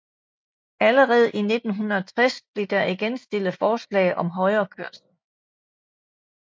Allerede i 1960 blev der igen stillet forslag om højrekørsel